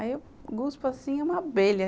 Aí eu cuspo, assim, uma abelha.